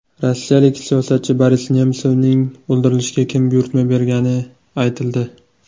Rossiyalik siyosatchi Boris Nemsovning o‘ldirilishiga kim buyurtma bergani aytildi.